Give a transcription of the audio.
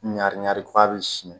Ɲaani ko a bɛ siɲɛ